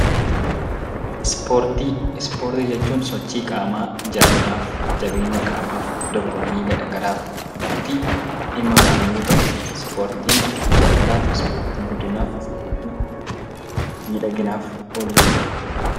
Ispoortii jechuun sochii qaamaaf, jaalalaaf, jabeenya qaamaaf, dorgommii garagaraaf kan itti dhimma baanu yoo ta'u, ispoortiin jaalalaaf, jabeenyaaf miidhaginaaf ooluu danda'a.